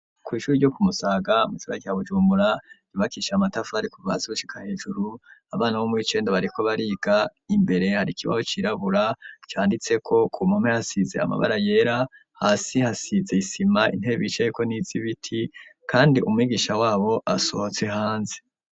ku ishuri ryo kumusaga mu isiba cya bujumura ribakisha amatafu ari ku bhazi bucika hejuru abana bo muicenda bariko bariga imbere harikibaho cirabura cyanditse ko ku mume yasize amabara yera hasi hasize isima intebe icaye ko n'izibiti kandi umwigisha wabo asohotse hanze